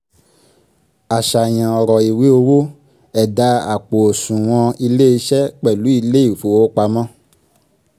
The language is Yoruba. àṣàyàn ọ̀rọ̀ ìwé owó ẹ̀dà àpò òṣùwọ̀n iléeṣẹ́ pẹ̀lú ilé ìfowópamọ́